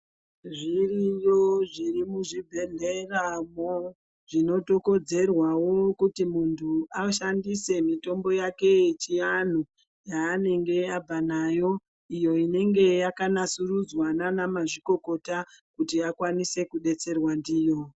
Zviriyo zviri muzvi bhedhlera mo zvinoto kodzerwawo kuti muntu ashandise mitombo yake yechi anhu yaanenge abva nayo iyo inenge yaka nasurudzwa nana mazvikokota kuti akwanise kudetserwa ndiyo.